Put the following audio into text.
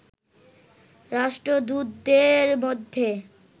রাষ্ট্রদূতদের মধ্যে